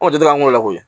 Anw tɛ taa an k'o la koyi